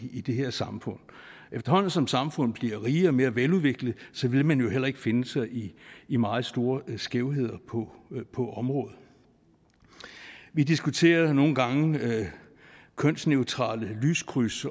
i det her samfund efterhånden som samfundet bliver rigere og mere veludviklet vil man jo heller ikke finde sig i i meget store skævheder på på området vi diskuterer nogle gange kønsneutrale lyskryds